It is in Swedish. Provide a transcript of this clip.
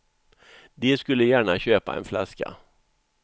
De skulle gärna köpa en flaska.